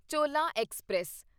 ਚੋਲਾਂ express